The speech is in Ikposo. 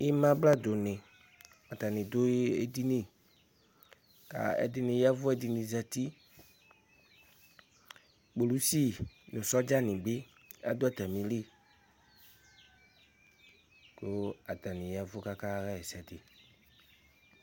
Imabladuni, atani du edini Ɛdɩnɩ yavʋ ɛdɩnɩ zǝti Kpolusi nʋ sɔdzani bɩ adu atamili, kʋ atani yavʋ kʋ akaɣa ɛsɛ